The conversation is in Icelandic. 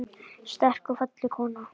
Sterk og falleg kona.